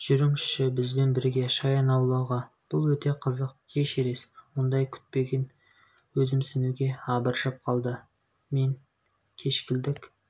жүріңізші бізбен бірге шаян аулауға бұл өте қызық эшерест мұндай күтпеген өзімсінуге абыржып қалды мен кешкілік